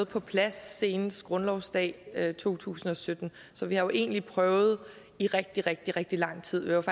på plads senest grundlovsdag 2017 så vi har jo egentlig prøvet i rigtig rigtig rigtig lang tid